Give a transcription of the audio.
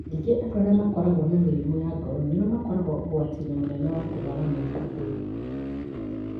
Ningĩ andũ arĩa makoragwo na mĩrimũ ya ngoro nĩo makoragwo ũgwati-inĩ mũnene wa kũrũara mũrimũ ũyũ.